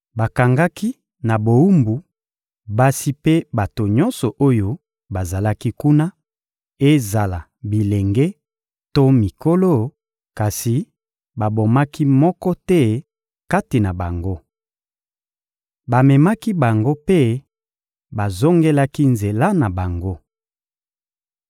Bakangaki na bowumbu basi mpe bato nyonso oyo bazalaki kuna, ezala bilenge to mikolo, kasi babomaki moko te kati na bango. Bamemaki bango mpe bazongelaki nzela na bango.